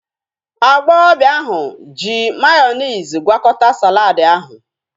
Agbọghọbịa ahu ji mayonezi gwakọta saladi ahu